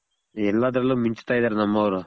ಎಲಾದ್ರಲ್ಲು ಮಿಂಚ್ತ ಇದಾರ್ ನಮವ್ರು